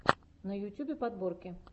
на ютьюбе подборки